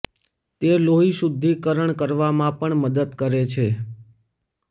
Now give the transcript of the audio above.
તે લોહી શુદ્ધિકરણ કરવામાં પણ મદદ કરે છે